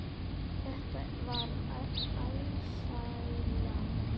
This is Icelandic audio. Þetta var alsæla.